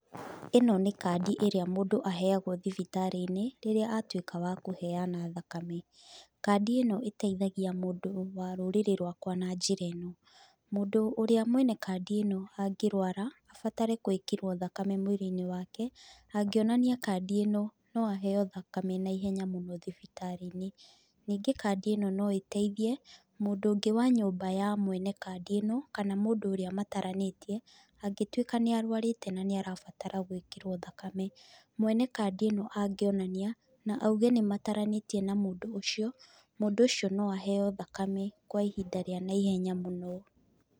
Ĩno nĩ kandi ĩrĩa mũndũ aheyagũo thibitarĩ-inĩ, rĩrĩa atuĩka wa kũheyana thakame. Kandi ĩno ĩteithagia mũndũ wa rũrĩrĩ rwakua na njĩra ĩno; mũndũ ũrĩa mwene kandi ĩno angĩrũara abatare gwĩkĩrwo thakame mwĩrĩ-inĩ wake, angĩonania kandi ĩno, no aheyo thakame naihenya mũno thibitarĩ-inĩ. Nĩngĩ kandi ĩno noĩteithie, mũndũ wa nyũmba ya mwene kandi ĩno kana mũndũ ũrĩa mataranĩtie, angĩtuĩka nĩ arũarĩte na nĩ arabatara gũĩkĩrwo thakame, mwene kandi ĩno angionania, na auge nĩ mataranĩtie na mũndũ ũcio, mũndũ ũcio no aheyo thakame kwa ihinda rĩa naihenya mũno.